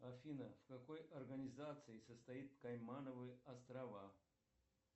афина в какой организации состоит каймановы острова